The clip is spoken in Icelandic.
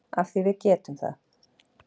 Af því að við getum það.